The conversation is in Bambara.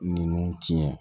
Ninnu tiɲɛ